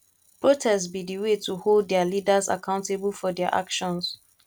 protest be di way to hold dia leaders accountable for dia actions